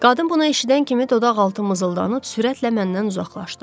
Qadın bunu eşidən kimi dodaqaltı mızıldanıb sürətlə məndən uzaqlaşdı.